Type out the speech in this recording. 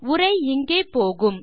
உரை இங்கே போகும்